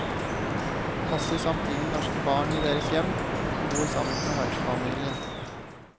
Passer samtidig norske barn i deres hjem, og bor sammen med vertsfamilien.